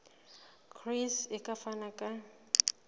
gcis e ka fana ka